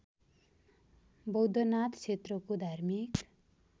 बौद्धनाथ क्षेत्रको धार्मिक